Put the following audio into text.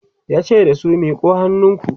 yace da su "miƙo hannunku!"